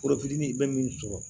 Foro fitinin bɛ min sɔrɔ